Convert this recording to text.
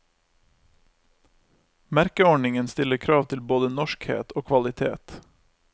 Merkeordningen stiller krav til både norskhet og kvalitet.